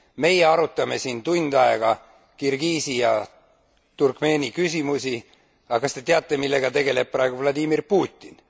Meie arutame siin tund aega Kirgiisi ja Turkmeeni küsimusi, aga kas te teate, millega tegeleb praegu Vladimir Putin?